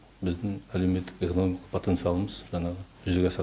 біздің әлеуметтік экономикалық потенциалымыз жаңағы жүзеге асады